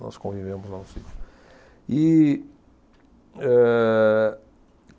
Nós convivemos lá no sítio. E, ehh